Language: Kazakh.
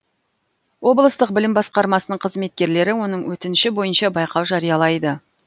облыстық білім басқармасының қызметкерлері оның өтініші бойынша байқау жариялайды